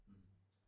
Hm